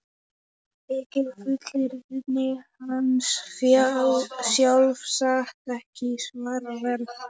Þykir fullyrðing hans sjálfsagt ekki svaraverð.